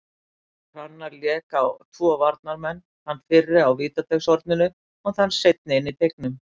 Hrannar lék á tvo varnarmenn, þann fyrri á vítateigshorninu og þann seinni inn í teignum.